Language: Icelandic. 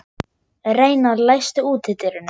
Reynar, læstu útidyrunum.